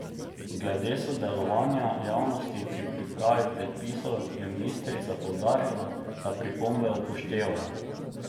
Glede sodelovanja javnosti pri pripravi predpisov je ministrica poudarila, da pripombe upoštevajo.